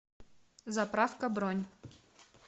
заправка бронь